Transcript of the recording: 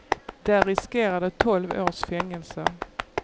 Där riskerar de tolv års fängelse.